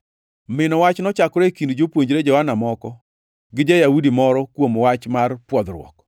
Mino wach nochakore e kind jopuonjre Johana moko gi ja-Yahudi moro kuom wach mar pwodhruok.